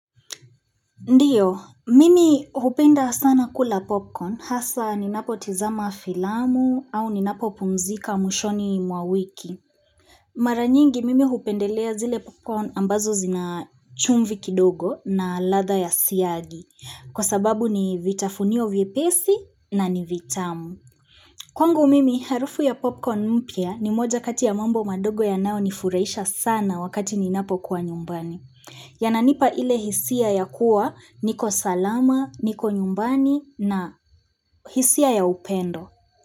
Ndiyo, mimi hupenda sana kula popcorn hasa ninapo tizama filamu au ninapo pumzika mwishoni mwa wiki. Mara nyingi mimi hupendelea zile popcorn ambazo zina chumvi kidogo na ladha ya siagi. Kwa sababu ni vitafunio vyepesi na ni vitamu. Kwangu mimi, harufu ya popcorn mpya ni moja kati ya mambo madogo yanayo nifurahisha sana wakati ninapo kuwa nyumbani. Yananipa ile hisia ya kuwa niko salama, niko nyumbani na hisia ya upendo.